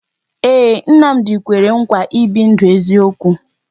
Ee, Nnamdi kwere nkwa ibi ndụ eziokwu